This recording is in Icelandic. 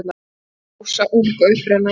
Rósa ung og upprennandi.